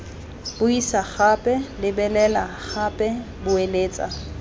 buisa gape lebelela gape boeletsa